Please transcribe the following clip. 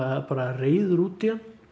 reiður út í hann